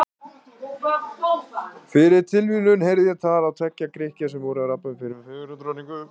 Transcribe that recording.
Fyrir tilviljun heyrði ég á tal tveggja Grikkja sem voru að rabba um fyrrum fegurðardrottningu.